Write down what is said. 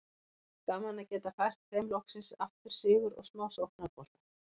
Gaman að geta fært þeim loksins aftur sigur og smá sóknarbolta!